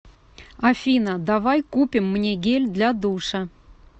афина давай купим мне гель для душа